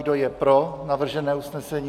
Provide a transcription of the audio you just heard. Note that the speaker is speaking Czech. Kdo je pro navržené usnesení?